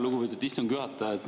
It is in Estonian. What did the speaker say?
Lugupeetud istungi juhataja!